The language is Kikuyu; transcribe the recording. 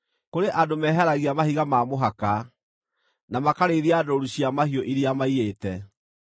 Kũrĩ andũ meeheragia mahiga ma mũhaka, na makarĩithia ndũũru cia mahiũ iria maiyĩte.